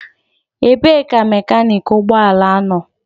Ebee ka mekaniki ụgbọ ala nọ?